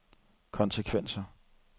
konsekvenser